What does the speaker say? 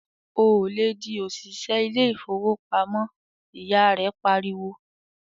"Ò lè di òṣìṣẹ́ ilé ìfowópamọ́!", ìyá rẹ pariwo.